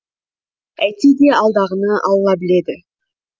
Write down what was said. әйтсе де алдағыны алла біледі